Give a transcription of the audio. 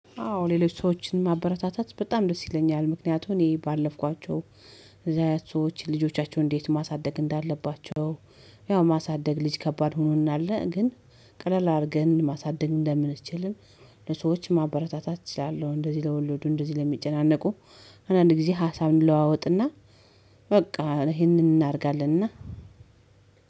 አዎ ሌሎች ሰዎችን ማበረታታት በጣም ደስ ይለኛል ምክንያቱም እኔ ባለፍኳቸው እነዚያ ሰዎች ልጆቻቸውን እንዴት ማሳደግ እንዳለባቸው። ያው ማሳደግ ልጅ ከባድ ሆኖናል ግን ቀለል አድርገን ማሳደግ እንደምንችል። ለሰዎች ማበረታታት እችላለ፤ እንደዚህ ለወለዱ እንደዚህ ለሚጨናነቁ አንዳንድ ጊዜ ሀሳብ እነለዋወጥና። በቃ ይሄንን እናደርጋለንና።